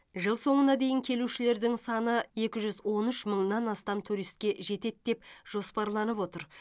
жыл соңына дейін келушілердің саны екі жүз он үш мыңнан астам туристке жетеді деп жоспарланып отыр